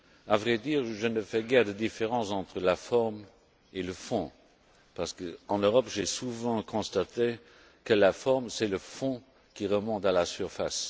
À vrai dire, je ne fais guère de différence entre la forme et le fond, parce qu'en Europe j'ai souvent constaté que la forme, c'est le fond qui remonte à la surface.